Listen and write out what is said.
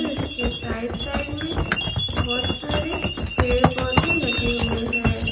इसके side side में बहुत सारे पेड़ पौधे लगे हुए हैं।